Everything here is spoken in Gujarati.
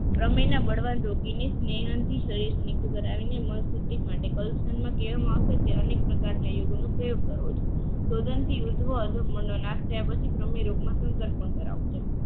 પ્રવિણા બળવાન રોગીને સ્નેહાન નથી શરીરને દૂર કરાવીને મળતું તે અનેક પ્રકારના યોગોનો પ્રયોગ કરવો જોઈએ